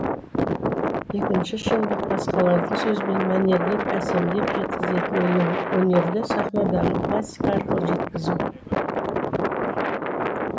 екінші шындық басқалардың сөзбен мәнерлеп әсемдеп жеткізетін өнерді сахнадағы пластика арқылы жеткізу